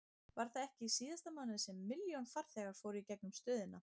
Var það ekki í síðasta mánuði sem milljón farþegar fóru í gegnum stöðina?